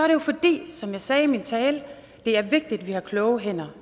jo fordi som jeg sagde i min tale at det er vigtigt at vi har kloge hænder